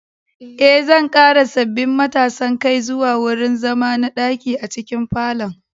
Eh, zan ƙara sabbin matasan kai zuwa wurin zama na ɗaki a cikin falon